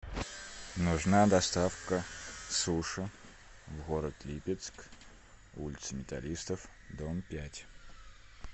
нужна доставка суши в город липецк улица металлистов дом пять